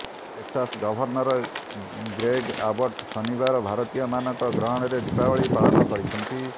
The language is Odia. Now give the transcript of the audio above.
ଟେକ୍ସାସ ଗଭର୍ଣ୍ଣର ଗ୍ରେଗ ଆବଟ ଶନିବାର ଭାରତୀୟମାନଙ୍କ ଗହଣରେ ଦୀପାବଳି ପାଳନ କରିଛନ୍ତି